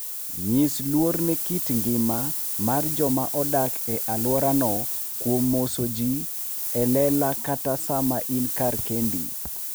Nyis luor ne kit ngima mar joma odak e alworano kuom moso ji e lela kata sama in kar kendi.